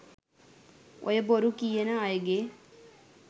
"ඔය බොරු කියන අයගෙ